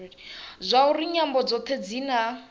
zwauri nyambo dzothe dzi na